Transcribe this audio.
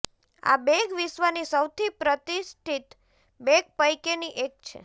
આ બેગ વિશ્વની સૌથી પ્રતિષ્ઠિત બેગ પૈકીની એક છે